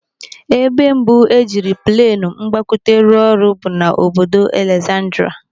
Ebe mbụ e jiri plenụ mgbakwute rụọ ọrụ bụ n'obodo Alexandria.